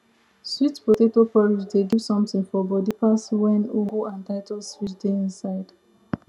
sweet potato porridge dey give something for body pass wen ugu and titus fish dey inside